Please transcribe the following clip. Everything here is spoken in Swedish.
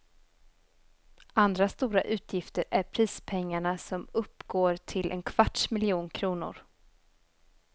Andra stora utgifter är prispengarna som uppgår till en kvarts miljon kronor.